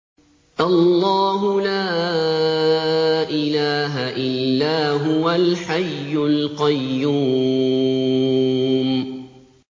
اللَّهُ لَا إِلَٰهَ إِلَّا هُوَ الْحَيُّ الْقَيُّومُ